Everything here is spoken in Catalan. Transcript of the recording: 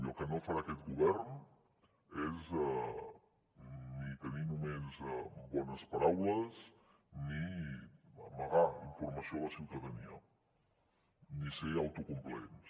i el que no farà aquest govern és ni tenir només bones paraules ni amagar informació a la ciutadania ni ser autocomplaents